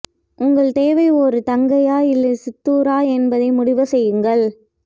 உங்களுக்குத் தேவை ஒரு தங்கையா இல்லை சித்தூரா என்பதை முடிவு செய்யுங்கள்